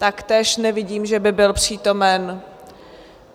Taktéž nevidím, že by byl přítomen.